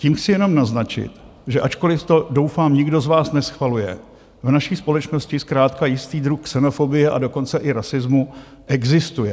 Tím chci jenom naznačit, že ačkoliv to, doufám, nikdo z vás neschvaluje, v naší společnosti zkrátka jistý druh xenofobie, a dokonce i rasismu existuje.